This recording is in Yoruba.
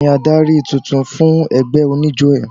Tani adarí tuntun fún ẹgbẹ́ oníjó ẹ?